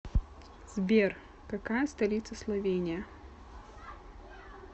сбер какая столица словения